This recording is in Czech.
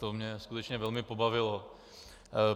To mě skutečně velmi pobavilo.